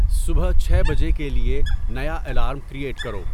صبح چھے بجے کے لیے نیا الارم کریئٹ کرو